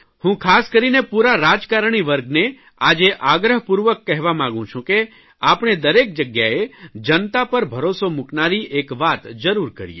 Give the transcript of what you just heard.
હું ખાસ કરીને પૂરા રાજકારણી વર્ગને આજે આગ્રહપૂર્વક કહેવા માંગુ છું કે આપણે દરેક જગ્યાએ જનતા પર ભરોસો મૂકનારી એક વાત જરૂર કરીએ